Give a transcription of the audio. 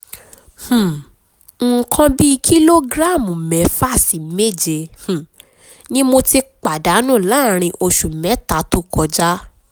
um nǹkan bí kìlógíráàmù mẹ́fà sí méje um ni mo ti pàdánù láàárín um oṣù mẹ́ta tó kọjá